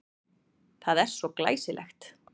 Það er svo glæsilegt.